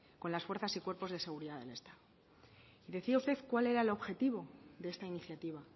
con las fuerzas y cuerpos de seguridad del estado decía usted cuál era el objetivo de esta iniciativa